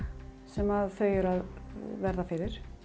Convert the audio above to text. sem þau eru að verða fyrir